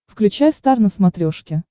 включай стар на смотрешке